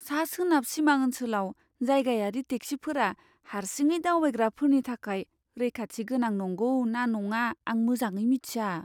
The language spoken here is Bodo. सा सोनाब सिमा ओन्सोलाव जायगायारि टेक्सिफोरा हारसिङै दावबायग्राफोरनि थाखाय रैखाथि गोनां नंगौ ना नङा, आं मोजाङै मिन्थिया।